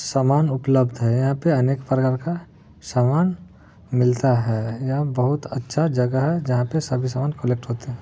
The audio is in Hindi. सामान उपलब्ध हैं यहाँ पे अनेक प्रकार का सामान मिलता है यहा बहुत अच्छा जगह है जहा पे सभी सामान कॉलेक्ट होते हैं।